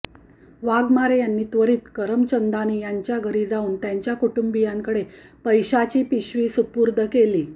वाघमारे यांनी त्वरित करमचंदानी यांच्या घरी जाऊन त्यांच्या कुटुंबीयांकडे पैशाची पिशवी सुपूर्द केली